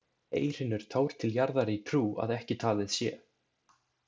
Ei hrynur tár til jarðar í trú, að ekki talið sé.